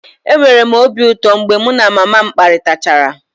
Enwere m obi ụtọ mgbe mụ na mama m kparịtachara